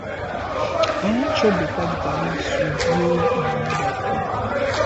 i wan chop better bitter leaf soup wey my mother cook